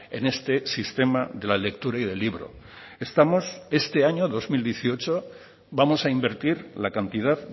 en este sistema de la lectura y del libro estamos este año dos mil dieciocho vamos a invertir la cantidad